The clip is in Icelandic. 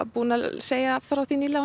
búin að segja frá því nýlega